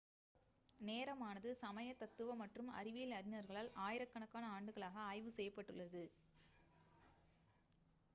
நேரமானது சமய தத்துவ மற்றும் அறிவியல் அறிஞர்களால் ஆயிரக்கணக்கான ஆண்டுகளாக ஆய்வு செய்யப்பட்டுள்ளது